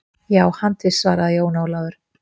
Já, handviss, svaraði Jón Ólafur.